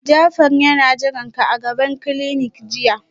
Jafar yana jiranka a gaban clinic jiya